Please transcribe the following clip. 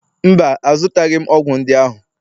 mba, azụtaghị m ọgwụ ndị ahụ